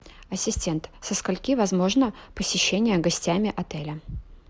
ассистент со скольки возможно посещение гостями отеля